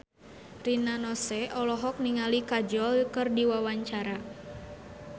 Rina Nose olohok ningali Kajol keur diwawancara